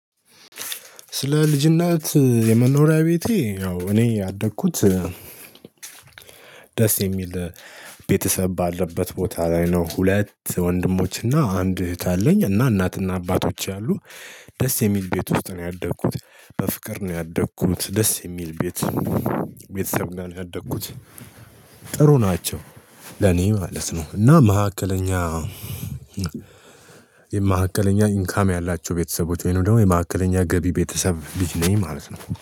ስለ ልጅነት የመኖሪያ ቤቴ ያው እኔ ያደግኩት ደስ የሚል ቤተሰብ ባለበት ቦታ ላይ ነው። ሁለት ወንድሞች እና አንድ እህት አለኝ እና እናትና አባቶች አሉ። ደስ የሚል ቤት ውስጥ ነው ያደኩት በፍቅር ነው ያደኩት ደስ የሚል ቤት። ቤተሰብ ነው ያደኩት ጥሩ ናቸው። ለኔ ማለት ነው። እና መካከለኛ የመካከለኛ ኢንካም ያላቸው ቤተሰቦች ወይንም ደግሞ የመካከለኛ ገቢ ቤተሰብ ልጅ ነኝ ማለት ነው